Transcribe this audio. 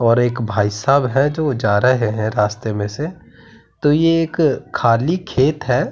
और एक भाईसाहब है जो जा रहे हैं रास्ते में से तो ये एक खाली खेत है।